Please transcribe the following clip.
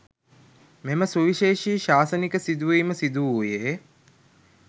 මෙම සුවිශේෂී ශාසනික සිදුවීම සිදුවූයේ